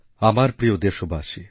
আমার প্রিয় দেশবাসী